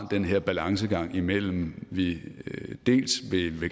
den her balancegang imellem at vi dels